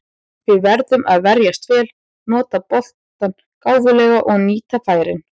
Við verðum að verjast vel, nota boltann gáfulega og nýta færin.